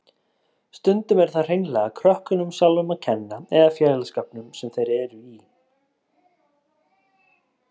Stundum er það hreinlega krökkunum sjálfum að kenna eða félagsskapnum sem þeir eru í.